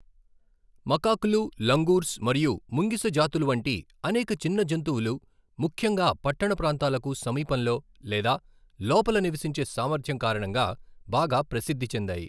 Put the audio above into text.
మకాక్లు, langurs మరియు ముంగిస జాతులు వంటి అనేక చిన్న జంతువులు ముఖ్యంగా పట్టణ ప్రాంతాలకు సమీపంలో లేదా లోపల నివసించే సామర్థ్యం కారణంగా బాగా ప్రసిద్ధి చెందాయి.